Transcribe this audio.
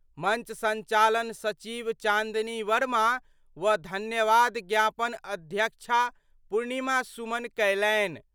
मंच संचालन सचिव चांदनी वर्मा व धन्यवाद ज्ञापन अध्यक्षा पुर्णिमा सुमन कयलनि।